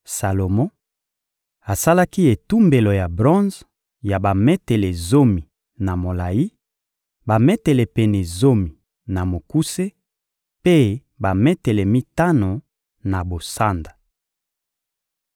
Salomo asalaki etumbelo ya bronze ya bametele zomi na molayi, bametele pene zomi na mokuse, mpe bametele mitano na bosanda. (1Ba 7.23-26)